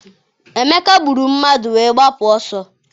Emeka gburu mmadụ wee gbapụ ọsọ.